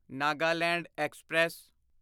Nagaland express